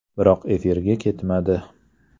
Biroq efirga ketmadi.